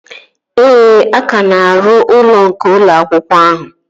Ee, a ka na-arụ ụlọ nke ụlọ akwụkwọ ahụ